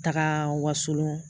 Taga Wasolon